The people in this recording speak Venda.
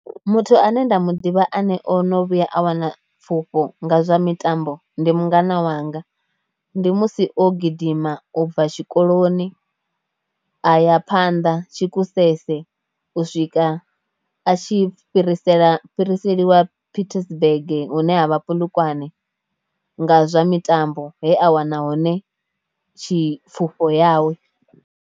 Muthu ane nda mu ḓivha ane o no vhuya a wana pfhufho nga zwa mitambo ndi mungana wanga, ndi musi o gidima ubva tshikoloni a ya phanḓa Sekgosese u swika a tshi fhirisela fhiriseliwa Pietersburg hune ha vha Polokwane nga zwa mitambo he a wana hone tshi pfhufho yawe.